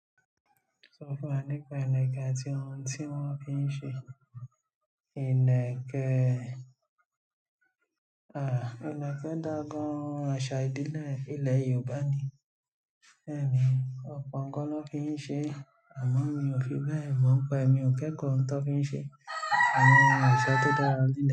Sọ fún wa nípa ìlẹ̀kẹ̀ àti ohun tí wọ́n fi ń ṣe. Ìlẹ̀kẹ̀ dà gàn àṣà ìdílé ilẹ̀ Yorùbá ni. Bẹ́ẹ̀ ni, ọ̀pọ̀ nǹkan ló fi ń ṣe é, àmọ́ mi ò fi bẹ́ẹ̀ mọ ń pa ẹ́, èmi ò kẹ́kọ̀ọ́ ohun tó fi ń ṣe é, àmọ́ àwọn àṣà tó dára nílẹ̀.